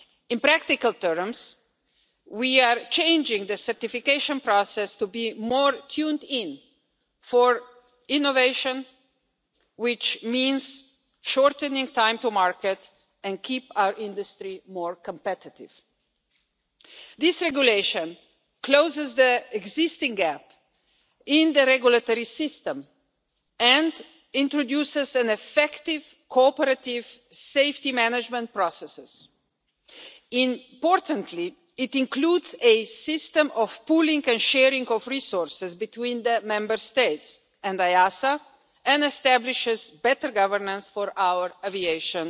In practical terms, we are changing the certification process to be more tuned in for innovation, which means shortening time to market and keeping our industry more competitive. This regulation closes the existing gap in the regulatory system and introduces effective, cooperative safety management processes. Importantly, it includes a system of pooling and sharing of resources between the Member States and EASA and establishes better governance for our aviation